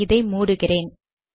இதை மூடுகிறேன்